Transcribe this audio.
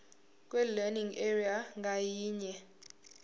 kwilearning area ngayinye